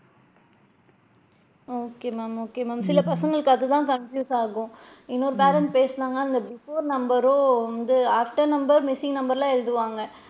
Okay ma'am okay ma'am சில பசங்களுக்கு அது தான் confuse ஆகும் இன்னொரு parent பேசுனாங்க அவுங்க before number வந்து after number missing number லா எழுதுவாங்க,